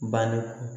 Banniko